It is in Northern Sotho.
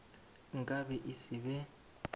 nka be e se be